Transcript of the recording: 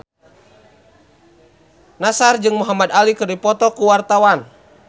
Nassar jeung Muhamad Ali keur dipoto ku wartawan